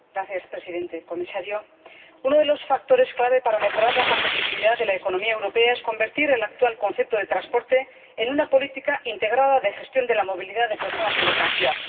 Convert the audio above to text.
Señor Presidente, señor Comisario, uno de los factores clave para mejorar la competitividad de la economía europea es convertir el actual concepto de transporte en una política integrada de gestión de la movilidad de personas y mercancías.